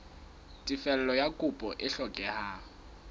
tefello ya kopo e hlokehang